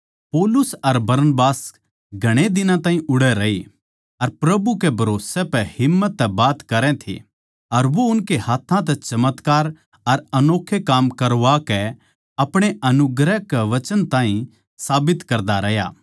पौलुस अर बरनबास घणे दिन ताहीं उड़ै रहे अर प्रभु कै भरोसै पै हिम्मत तै बात करै थे अर वो उनकै हाथ्थां तै चमत्कार अर अनोक्खे काम करवा कै अपणे अनुग्रह के वचन ताहीं साबित करता रह्या